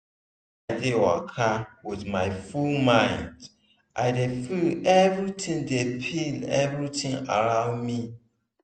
when i dey waka with my full mind i dey feel everitin dey feel everitin around me.